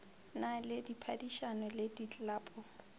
na le diphadišano le diklapo